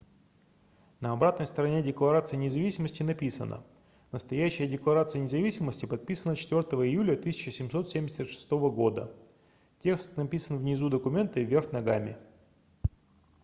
на обратной стороне декларации независимости написано настоящая декларация независимости подписана 4 июля 1776 года текст написан внизу документа и вверх ногами